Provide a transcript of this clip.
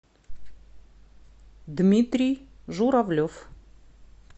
дмитрий журавлев